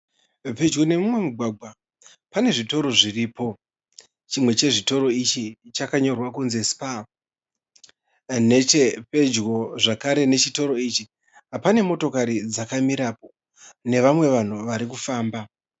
Pedyo nemumwe mugwagwa pane zvitoro zviripo. Chimwe chezvitoro ichi chakanyorwa kunzi Spar. Nechepedyo zvekare pechitoro ichi pane motokari dzaka mirapo nevamwe vanhu vari kufamba.